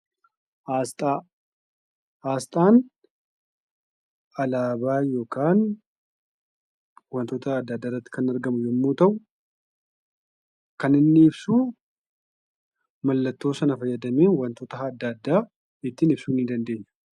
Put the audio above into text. Aasxaa. Aasxaan alaabaa yookaan wantoota adda addaarratti kan argamu yemmuu ta'u kan inni ibsuu mallattoo sana fayyadamee wantoota adda addaa ittiin ibsuu ni dandeenya.